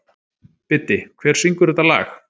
Biddi, hver syngur þetta lag?